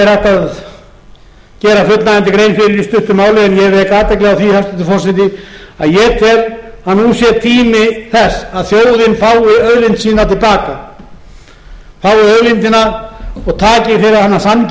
því hæstvirtur forseti að ég tel að nú sé tími þess að þjóðin fái auðlindir sínar til baka fái auðlindina og taki fyrir hana sanngjarnt gjald en þeir sem